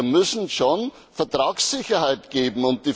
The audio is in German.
Wir müssen schon Vertragssicherheit geben.